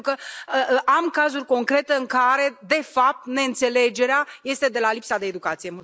Pentru că am cazuri concrete în care, de fapt, neînțelegerea este de la lipsa de educație.